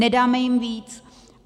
Nedáme jim víc.